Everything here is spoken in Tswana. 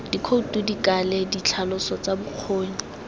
dikhoutu dikale ditlhaloso tsa bokgoni